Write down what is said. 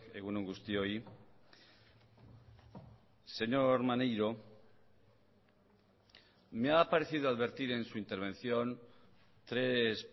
egun on guztioi señor maneiro me ha parecido advertir en su intervención tres